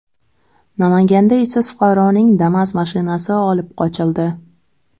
Namanganda ishsiz fuqaroning Damas mashinasi olib qochildi.